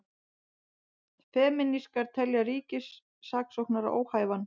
Femínistar telja ríkissaksóknara óhæfan